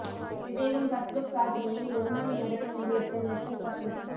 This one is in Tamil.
விவேகம் பர்ஸ்ட் லுக் சாதனையை ஒரு மணி நேரத்தில் முறியடித்த மெர்சல் பர்ஸ்ட் லுக்